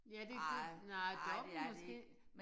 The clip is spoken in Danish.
Ja det det nej Dokk1 måske